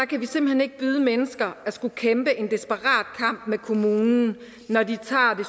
kan vi simpelt hen ikke byde mennesker at skulle kæmpe en desperat kamp med kommunen når de tager det